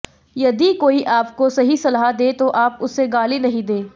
यदि कोई आपको सही सलाह दे तो आप उसे गाली नहीं दें